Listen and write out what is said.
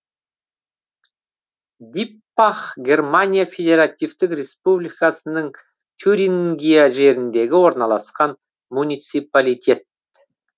диппах германия федеративтік республикасының тюрингия жеріндегі орналасқан муниципалитет